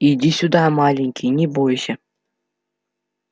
иди сюда маленький не бойся